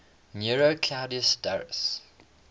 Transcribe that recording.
nero claudius drusus